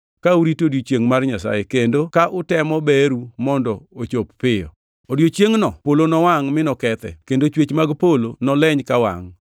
ka urito odiechiengʼ mar Nyasaye, kendo ka utemo beru mondo ochop piyo. Odiechiengʼno polo nowangʼ mi nokethe, kendo chwech mag polo noleny kawangʼ.